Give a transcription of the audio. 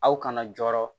Aw kana jɔrɔ